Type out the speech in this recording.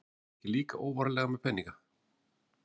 Fóruð þið ekki líka óvarlega með peninga?